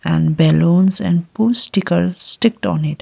and balloons and postical sticked on it.